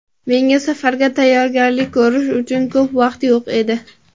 Menda safarga tayyorgarlik ko‘rish uchun ko‘p vaqt yo‘q edi.